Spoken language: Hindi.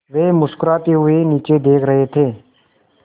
वे मुस्कराते हुए नीचे देख रहे थे